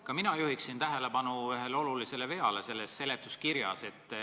Ka mina juhin tähelepanu ühele olulisele veale seletuskirjas.